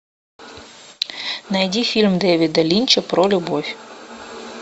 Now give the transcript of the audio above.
найди фильм дэвида линча про любовь